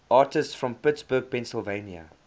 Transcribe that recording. artists from pittsburgh pennsylvania